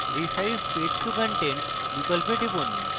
resize page to content বিকল্পে টিপুন